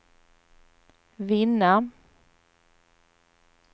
vinna